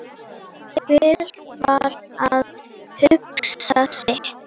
Hver var að hugsa sitt.